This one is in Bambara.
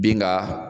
Bin ka